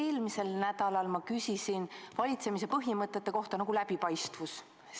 Eelmisel nädalal küsisin ma valitsemise põhimõtete kohta, nagu läbipaistvus.